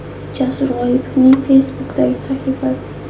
Jasur G‘oipovning Facebook’dagi sahifasi.